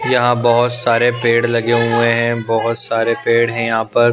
यहाँ बहुत सारे पेड़ लगे हुए हैं बहुत सारे पेड़ हैं यहाँ पर --